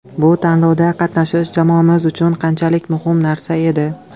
Bu tanlovda qatnashish jamoamiz uchun qanchalik muhim narsa edi.